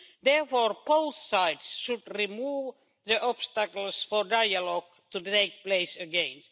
Therefore, both sides should remove the obstacles for dialogue to take place again.